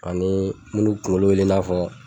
Ani minnu kunkolo wele i n'a fɔ